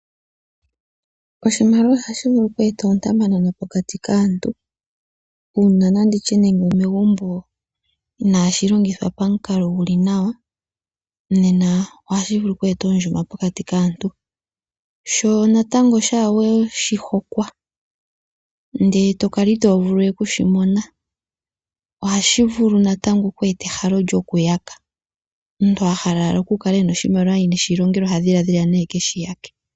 Oshimaliwa oha shi vulu oku eta oontamanana pokati kaantu, nanditye nande omegumbo, inaashi longithwa pamukalo gu li nawa, nena oha shi vulu oku eta oondjuma pokati kaantu, sho natango shaa we shi hokwa ndele to kala ito vulu we okushi mona, oha shi vulu natango oku eta ehalo lyokuyaka. Omuntu ahala owala oku kala ena oshimaliwa ye ineshi longela oha dhiladhila nee ekeshiyake.